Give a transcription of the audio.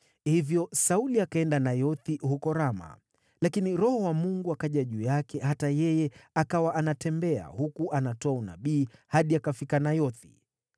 Hivyo Sauli akaenda Nayothi huko Rama. Lakini Roho wa Mungu akaja juu yake hata yeye, akawa anatembea huku anatoa unabii hadi akafika Nayothi.